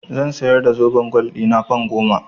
Zan siyar da zoben gwal ɗina fan goma.